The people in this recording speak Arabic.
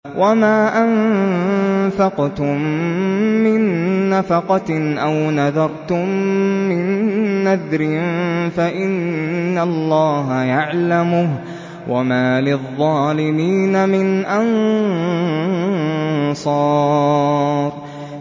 وَمَا أَنفَقْتُم مِّن نَّفَقَةٍ أَوْ نَذَرْتُم مِّن نَّذْرٍ فَإِنَّ اللَّهَ يَعْلَمُهُ ۗ وَمَا لِلظَّالِمِينَ مِنْ أَنصَارٍ